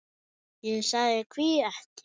Ég sagði: Hví ekki?